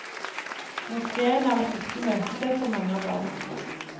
Moskéen er et viktig møtested for mange av barna.